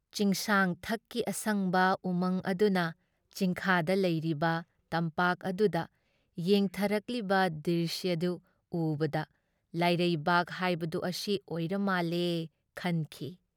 ꯆꯤꯡꯁꯥꯡ ꯊꯛꯀꯤ ꯑꯁꯪꯕ ꯎꯃꯪ ꯑꯗꯨꯅ ꯆꯤꯡꯈꯥꯗ ꯂꯩꯔꯤꯕ ꯇꯝꯄꯥꯛ ꯑꯗꯨꯗ ꯌꯦꯡꯊꯔꯛꯂꯤꯕ ꯗ꯭ꯔꯤꯁ꯭ꯌꯗꯨ ꯎꯕꯗ ꯂꯥꯏꯔꯩꯕꯥꯛ ꯍꯥꯏꯕꯗꯨ ꯑꯁꯤ ꯑꯣꯏꯔꯃꯥꯜꯂꯦ ꯈꯜꯂꯤ ꯫